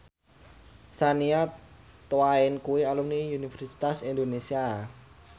Shania Twain kuwi alumni Universitas Indonesia